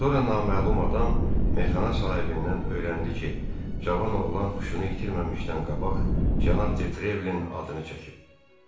Sonra naməlum adam meyxana sahibindən öyrəndi ki, cavan oğlan huşunu itirməmişdən qabaq cənab De Trevlin atını çəkib.